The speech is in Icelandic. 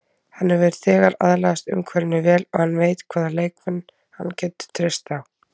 Hann hefur þegar aðlagast umhverfinu vel og hann veit hvaða leikmenn hann getur treyst á.